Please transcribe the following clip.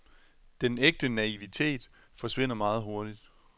Den ægte naivitet forsvinder meget hurtigt.